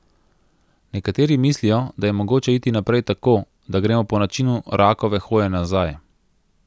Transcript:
Nekateri mislijo, da je mogoče iti naprej tako, da gremo po načinu rakove hoje nazaj.